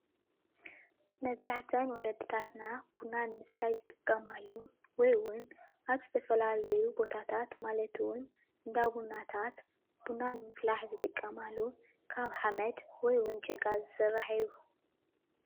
መብዛሕትአን ወለድታትና ቡና ንምስታይ ዝጥቀማሉ ወይ እውን ኣብ ዝተፈላለዩ ቦታታት ማለት እውን እንዳ ቡናታት ቡና ንምፍላሕ ዝጥቀማሉ ካብ ሓመድ ወይ እውን ጭቃ ዝስራሕ እዩ፡፡